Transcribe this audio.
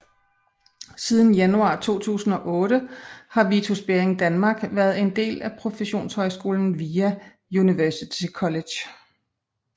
Siden januar 2008 har Vitus Bering Danmark været en del af professionshøjskolen VIA University College